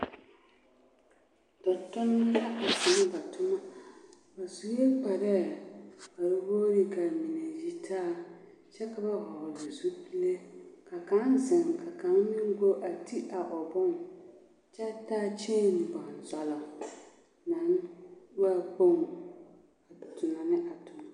Tontomba la tona ba toma, ba sue kparɛɛ k'a boɔrɔ k'a mine yitaa kyɛ ka ba hɔgele zupile ka kaŋa zeŋ ka kaŋa meŋ go a ti a o bone kyɛ taa kyeeni bonzɔlɔ naŋ waa kpoŋ a tona ne a toma.